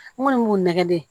N kɔni b'u nɛgɛde